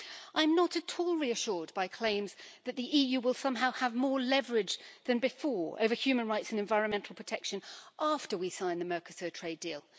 I'm not at all reassured by claims that the EU will somehow have more leverage than before over human rights and environmental protection after we sign the Mercosur trade deal.